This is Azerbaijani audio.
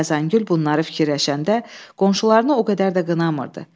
Xəzəngül bunları fikirləşəndə qonşularını o qədər də qınamırdı.